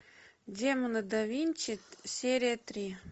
демоны да винчи серия три